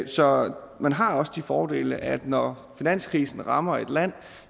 så man har de fordele at når finanskrisen rammer et land